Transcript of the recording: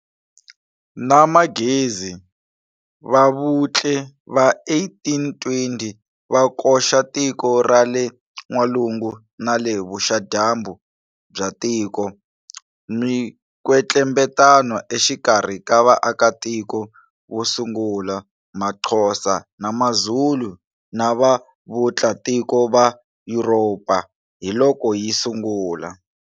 Na manghezi Vavutli va 1820 va koxa tiko ra le nwalungu na le vuxa-dyambu by tiko. Minkwetlembetano exikarhi ka vaakatiko vosungula, maXhosa na maZulu, na va vutlatiko va yuropa hi loko yi sungula.